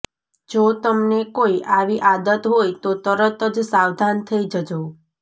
જો તમને કોઈ આવી આદત હોય તો તરત જ સાવધાન થઈ જજો